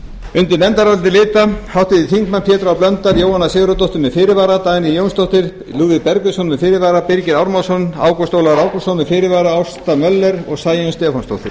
undir nefndarálitið rita háttvirtir þingmenn pétur h blöndal jóhanna sigurðardóttir með fyrirvara dagný jónsdóttir lúðvík bergvinsson með fyrirvara birgir ármannsson ágúst ólafur ágústsson með fyrirvara ásta möller og sæunn stefánsdóttir